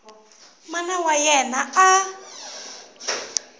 mana wa yena a a